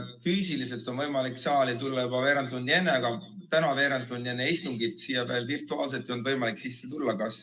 Füüsiliselt on võimalik saali tulla juba veerand tundi enne, aga täna veerand tundi enne istungit siia virtuaalselt tulla ei olnud võimalik.